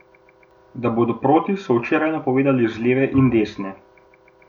Da bodo proti, so včeraj napovedovali z leve in desne.